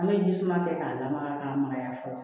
An bɛ jisuman kɛ k'a lamaga k'a magaya fɔlɔ